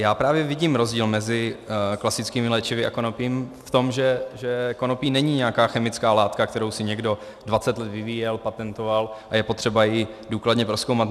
Já právě vidím rozdíl mezi klasickými léčivy a konopím v tom, že konopí není nějaká chemická látka, kterou si někdo 20 let vyvíjel, patentoval a je potřeba ji důkladně prozkoumat.